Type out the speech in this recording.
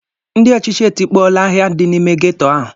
Ndị ọchịchị etikpọọla ahịa dị n'ime ghetto ahụ.